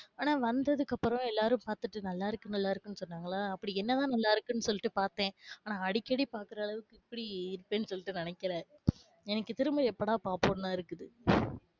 ஆனா வந்ததுக்கு அப்பறம் எல்லாரும் பாத்துட்டு நல்ல இருக்கு, நல்லா இருக்குனு சொன்னாங்களா அப்டி என்னதான் நல்லா இருக்குனு சொல்லிட்டு பாத்தேன். ஆனஅடிக்கடி பாக்குற அளவுக்கு இப்டி இருக்கும்னு நினைக்கல. எனக்கு திரும்ப எப்பதான் பாப்போம்னு தான் இருக்குது.